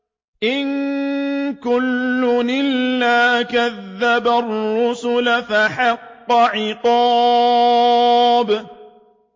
إِن كُلٌّ إِلَّا كَذَّبَ الرُّسُلَ فَحَقَّ عِقَابِ